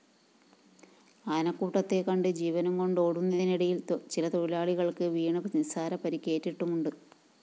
ആനകൂട്ടത്തെ കണ്ട് ജീവനും കൊണ്ടോടുതിനിടയില്‍ ചിലതൊഴിലാളികള്‍ക്ക് വീണ് നിസാര പരുക്കേറ്റിട്ടുമുണ്ട്